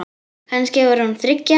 Kannski var hún þriggja ára.